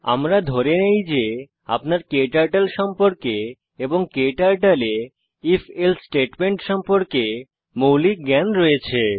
আমরা ধরে নেই যে আপনার ক্টার্টল সম্পর্কে এবং ক্টার্টল এ if এলসে স্টেটমেন্ট সম্পর্কে মৌলিক জ্ঞান রয়েছে